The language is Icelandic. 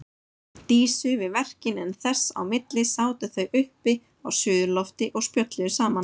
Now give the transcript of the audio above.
Dísu við verkin en þess á milli sátu þau uppi á suðurlofti og spjölluðu saman.